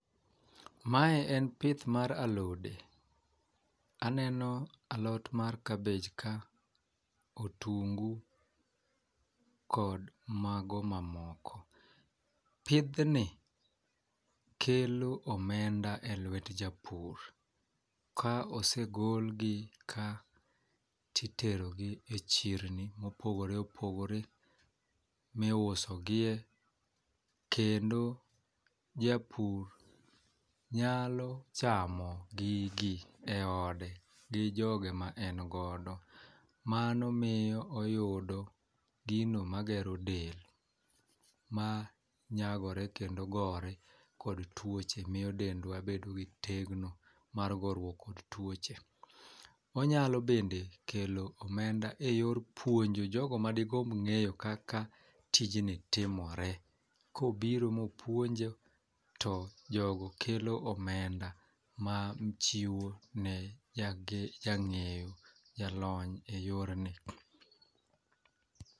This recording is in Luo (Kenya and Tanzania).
Mawe en pith mar alode. Aneno alot mar kabej ka otungu kod mago mamoko. Pidh ni kelo omenda e lwet japur. Ka osegol gi ka titero gi e chirni mopogore opogore miuso gie kendo japur nyalo chamo gigi e ode gi joge ma en godo. Mano miyo oyudo gino magero del ma nyagore kendo gore kod tuoche miyo dendwa bedo gi tegno mar gorruok kod tuoche. Onyalo bende kelo omenda e yor puonjo jogo madigomb ng'eyo kaka tijni timore kobiro mopuonje to jogo kelo omenda ma chiwo ne jage jang'eyo jalony e yor ni.